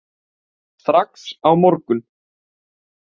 Strax á morgun.